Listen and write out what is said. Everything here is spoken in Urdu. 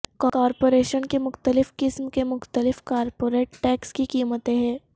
کارپوریشن کے مختلف قسم کے مختلف کارپوریٹ ٹیکس کی قیمتیں ہیں